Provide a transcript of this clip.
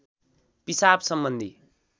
पिसाब सम्बन्धी